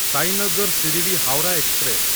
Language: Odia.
ସାଇନଗର ଶିରଡି ହାୱରା ଏକ୍ସପ୍ରେସ